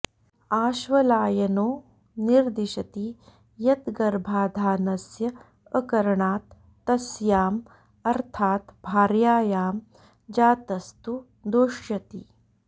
आश्वलायनो निर्दिशति यत् गर्भाधानस्य अकरणात् तस्याम् अर्थात् भार्यायां जातस्तु दुष्यति